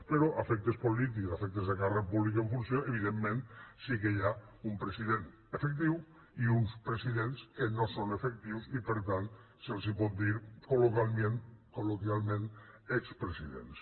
però a efectes polítics a efectes de càrrec públic en funció evidentment sí que hi ha un president efectiu i uns presidents que no són efectius i per tant se’ls pot dir col·loquialment expresidents